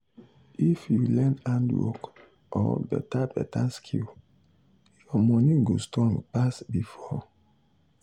if you learn handwork or beta beta skill your money go strong pass before.